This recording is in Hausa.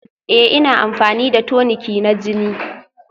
Ee ina amfani da toniki na jini